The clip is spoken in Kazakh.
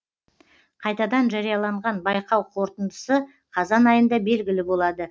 қайтадан жарияланған байқау қорытындысы қазан айында белгілі болады